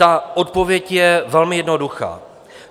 Ta odpověď je velmi jednoduchá.